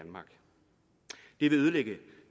vil ødelægge